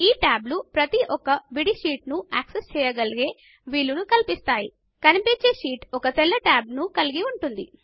ఈ టాబ్లు ప్రతి ఒక్క విడి షీట్ ను యాక్సెస్ చేయగలిగే వీలును కల్పిస్తాయి కనిపించే షీట్ ఒక తెల్ల టాబ్ ను కలిగి ఉంటుంది